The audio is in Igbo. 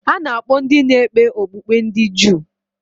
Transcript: A na-akpọ ndị na-ekpe okpukpe ndị Juu.